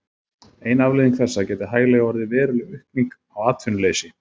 Ein afleiðing þessa gæti hæglega orðið veruleg aukning á atvinnuleysi.